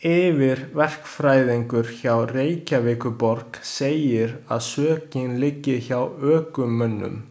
Yfirverkfræðingur hjá Reykjavíkurborg segir að sökin liggi hjá ökumönnum.